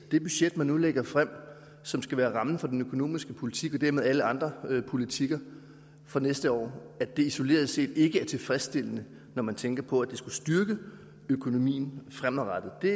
det budget man nu lægger frem som skal være rammen om den økonomiske politik og dermed alle andre politikker for næste år isoleret set ikke er tilfredsstillende når man tænker på at det skulle styrke økonomien fremadrettet det